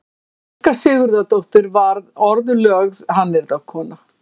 Helga Sigurðardóttir varð orðlögð hannyrðakona.